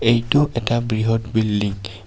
এইটো এটা বৃহৎ বিল্ডিঙ .